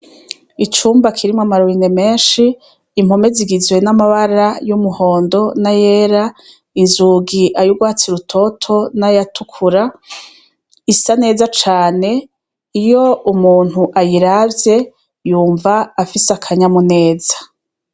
Icumba kirimwe amaruringe menshi impome zigizwe n'amabara y'umuhondo na yera inzugi ayugwatsi rutoto n'ayatukura isa neza cane iyo umuntu ayiravye yumva afise akanyamu neza.